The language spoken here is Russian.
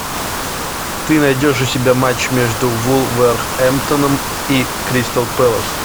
ты найдешь у себя матч между вулверхэмптоном и кристал пэлас